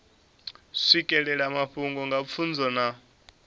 swikelela mafhungo nga pfunzo na